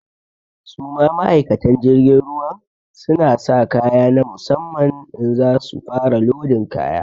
Su ma ma'aikatan jirgin ruwan, su na sa kaya na musamman in za su fara lodin kaya.